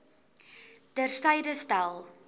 ter syde stel